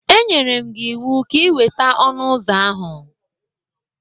M nyere gị ịwụ ka ị weta ọnụ ụzọ ahụ!